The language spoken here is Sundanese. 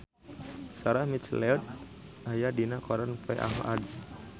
Sarah McLeod aya dina koran poe Ahad